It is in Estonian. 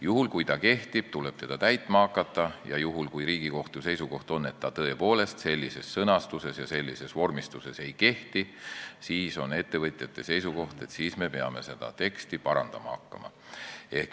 Juhul, kui ta kehtib, tuleb teda täitma hakata, ja juhul, kui Riigikohtu seisukoht on, et ta tõepoolest sellises sõnastuses ja sellises vormistuses ei kehti, siis on ettevõtjate seisukoht, et me peame seda teksti parandama hakkama.